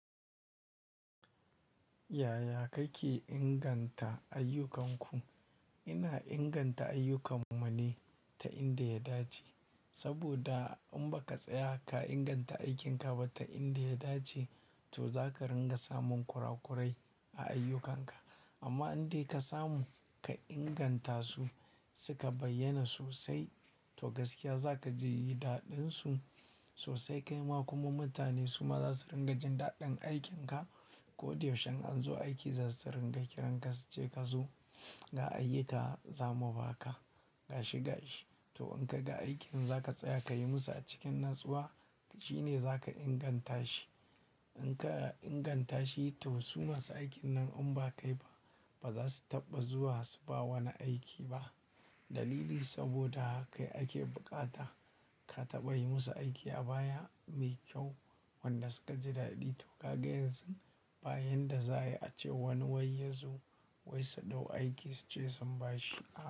Yaya kake inganta ayyukanku? Ina inganta ayyukan mu ne ta inda ya dace. Saboda in ba ka tsaya ka inganta aikinka ba ta inda ya dace, to za ka ringa samun kurakurai a ayyukanka. Amma inda ka samu ka inganta su, suka bayyana sosai, to gaskiya zaka ji daɗin su sosai. Kaima kuma mutane suma za su ringa jin daɗin aikinka. Koda yaushe in an zo aiki za su ringa kiranka su ce ka zo ga ayyuka zamu baka gashi gashi. To in kaga aikin za ka tsaya ka yi musu a cikin natsuwa, shine za ka inganta shi. In ka inganta shi, to su masu aikin nan in ba kai ba, ba za su taɓa zuwa su ba wani aiki ba. Dalili saboda kai ake bukata ka taɓa yi musu aiki a baya mai kyau wanda suka ji daɗi. To kaga yanzu, ba yanda za'ayi ace wani wai yazo su dau aiki su ce sun bashi.